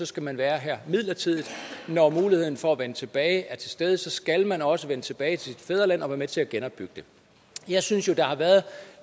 skal man være her midlertidigt og når muligheden for at vende tilbage er til stede skal man også vende tilbage til sit fædreland og være med til at genopbygge det jeg synes jo der har været